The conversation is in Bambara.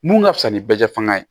Mun ka fisa ni bɛ fanga ye